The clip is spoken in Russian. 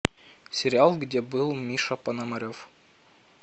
сериал где был миша пономарев